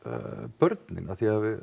börnin